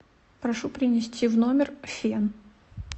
прошу принести в номер фен